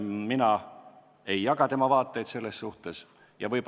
Mina selles asjas tema vaateid ei jaga.